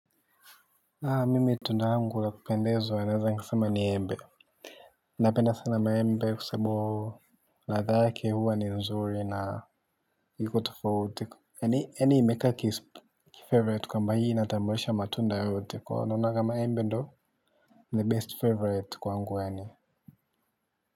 Naam mimi tunda langu la kupendezwa naweza sema ni embe napenda sana maembe kwa sababu ladha yake huwa ni nzuri na iko tofauti yaani imeka kifavorite kwamba hii inatambulisha matunda yote kwa naona kama embe ndo the best favorite kwangu yaani.